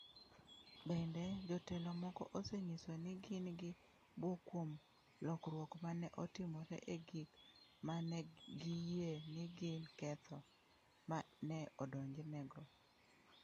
Bende, jotelo moko osenyiso ni gin gi bwok kuom lokruok ma ne otimore e gik ma ne giyie ni gin ketho ma ne odonjnego.